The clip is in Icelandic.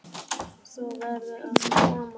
Þú verður að koma!